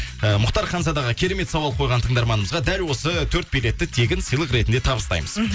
ііі мұхтар ханзадаға керемет сауал қойған тыңдарманымызға дәл осы төрт билетті тегін сыйлық ретінде табыстаймыз мхм